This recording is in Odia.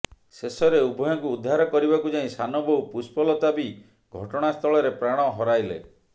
ଶେଷରେ ଉଭୟଙ୍କୁ ଉଦ୍ଧାର କରିବାକୁ ଯାଇ ସାନ ବୋହୂ ପୁଷ୍ପଲତା ବି ଘଟଣାସ୍ଥଳରେ ପ୍ରାଣ ହରାଇଲେ